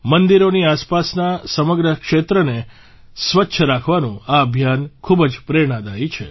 મંદિરોની આસપાસના સમગ્ર ક્ષેત્રને સ્વચ્છ રાખવાનું આ અભિયાન ખૂબ જ પ્રેરણાદાયી છે